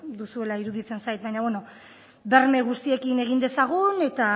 duzuela iruditzen zait baina bueno berme guztiekin egin dezagun eta